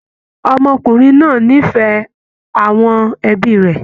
Ọmọkùnrin náà ní ìfẹ́ àwọn ẹbí rẹ̀